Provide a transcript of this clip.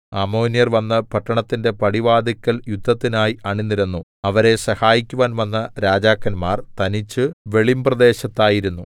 അമ്മോന്യർ വന്ന് പട്ടണത്തിന്റെ പടിവാതില്ക്കൽ യുദ്ധത്തിനായി അണിനിരന്നു അവരെ സഹായിക്കുവാൻ വന്ന രാജാക്കന്മാർ തനിച്ചു വെളിമ്പ്രദേശത്തായിരുന്നു